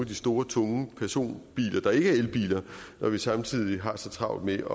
de store tunge personbiler der ikke er elbiler når vi samtidig har så travlt med